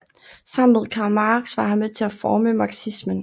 Sammen med Karl Marx var han med til at forme marxismen